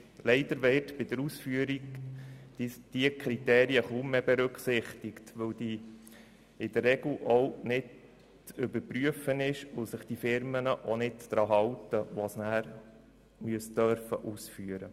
Leider werden diese Kriterien bei der Ausführung kaum mehr berücksichtigt, weil sie sich in der Regel nicht überprüfen lassen und sich die ausführenden Firmen auch nicht daran halten.